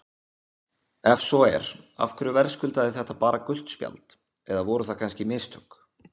Ef svo er, af hverju verðskuldaði þetta bara gult spjald eða voru það kannski mistök?